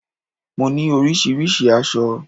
Mo ní oríṣiríṣi aṣọ